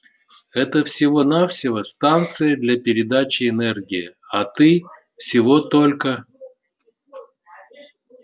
это всего-навсего станция для передачи энергии а ты всего только